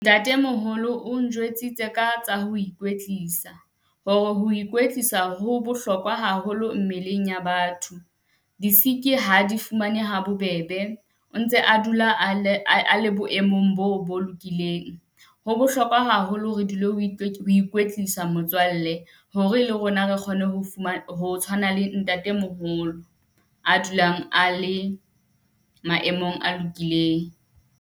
Ntatemoholo o njwetsitse ka tsa ho ikwetlisa, hore ho ikwetlisa ho bohlokwa haholo mmeleng ya batho. Di siki ha a di fumane ha bobebe, o ntse a dula a le, a a le boemong boo bo lokileng. Ho bohlokwa haholo re dule o o ikwetlisa motswalle hore le rona re kgone ho , ho tshwana le ntatemoholo a dulang a le maemong a lokileng.